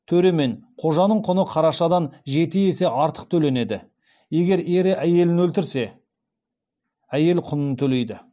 төре мен қожаның құны қарашадан жеті есе артық төленеді егер ері әйелін өлтірсе әйел құнын төлейді